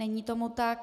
Není tomu tak.